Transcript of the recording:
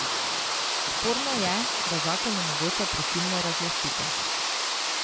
Sporno je, da zakon omogoča prisilno razlastitev.